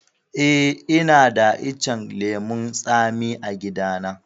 Eh, ina da icen lemun tsami a gida na.